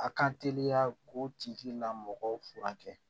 A ka teliya k'o tigi lamɔgɔw furakɛ